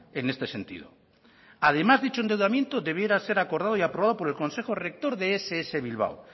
en este sentido además dicho endeudamiento debiera ser acordado y aprobado por el consejo rector de ess bilbao